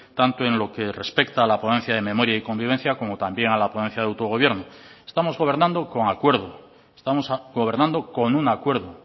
tanto en lo que respecta a la ponencia de memoria y convivencia como también a la ponencia de autogobierno estamos gobernando con acuerdo estamos gobernando con un acuerdo